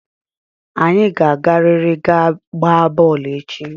Anyị ga-agarịrị ga gbaa bọọlụ echi!